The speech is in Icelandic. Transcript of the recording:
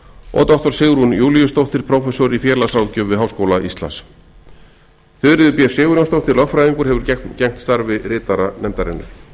og doktor sigrún júlíusdóttir prófessor í félagsráðgjöf við háskóla íslands þuríður b sigurjónsdóttir lögfræðingur hefur gegnt starfi ritara nefndarinnar